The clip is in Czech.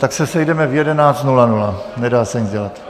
Tak se sejdeme v 11.00, nedá se nic dělat.